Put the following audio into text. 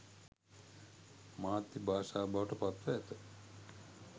මාධ්‍ය භාෂාව බවට පත්ව ඇත